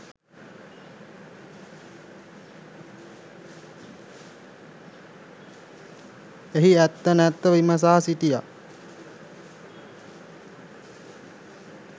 එහි ඇත්ත නැත්ත විමසා සිටියා.